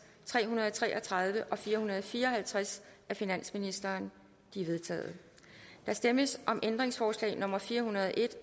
tre hundrede og tre og tredive og fire hundrede og fire og halvtreds af finansministeren de er vedtaget der stemmes om ændringsforslag nummer fire hundrede og en